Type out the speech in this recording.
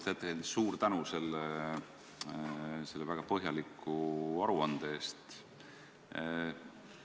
Lugupeetud ettekandja, suur tänu selle väga põhjaliku aruande eest!